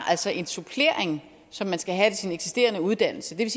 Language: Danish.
altså en supplering som man skal have til sin eksisterende uddannelse det